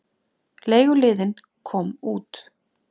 Leiguliðinn kom út.